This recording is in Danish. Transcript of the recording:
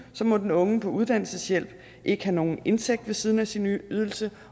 må den unge på uddannelseshjælp ikke have nogen indtægt ved siden af sin ydelse